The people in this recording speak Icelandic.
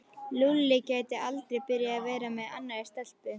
Lúlli gæti aldrei byrjað að vera með annarri stelpu.